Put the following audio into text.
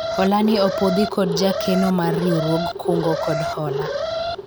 hola ni opwodhi kod jakeno mar riwruog kungo kod hola